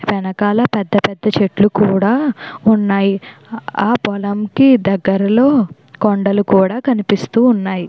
వెనకాల పెద్ద పెద్ద చెట్లు కూడా ఉన్నాయి. ఆ పొలంకి దగ్గరలో కొండలు కూడా కనిపిస్తూ ఉన్నాయి.